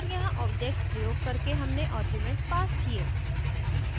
और यहाँ objects प्रयोग करके हमने आर्ग्यूमेंट्स passed किये